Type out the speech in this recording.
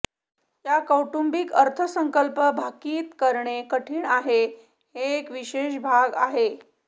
या कौटुंबिक अर्थसंकल्प भाकित करणे कठीण आहे एक विशेष भाग आहे